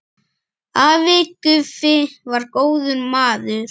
Afi Guffi var góður maður.